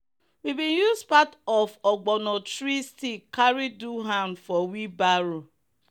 we been use part of ogbono tree stick carry do hand for wheel barrow.